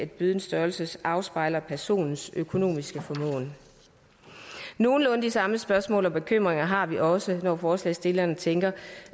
bødens størrelse afspejler personens økonomiske formåen nogenlunde de samme spørgsmål og bekymringer har vi også når forslagsstillerne tænker